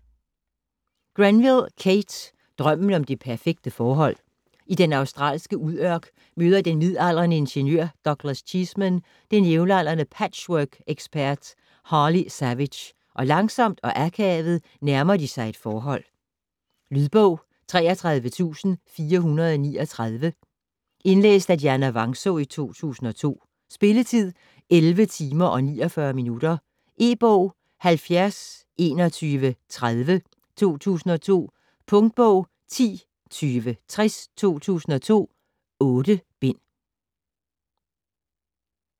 Grenville, Kate: Drømmen om det perfekte forhold I den australske udørk møder den midaldrende ingeniør Douglas Cheeseman den jævnaldrende patchworkekspert Harley Savage og langsomt og akavet nærmer de sig et forhold. Lydbog 33439 Indlæst af Dianna Vangsaa, 2002. Spilletid: 11 timer, 49 minutter. E-bog 702130 2002. Punktbog 102060 2002. 8 bind.